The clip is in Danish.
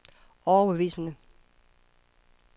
overbevisende